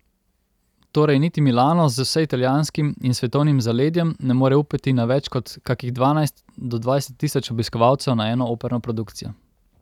Torej niti Milano z vseitalijanskim in svetovnim zaledjem ne more upati na več kot kakih dvanajst do dvajset tisoč obiskovalcev na eno operno produkcijo.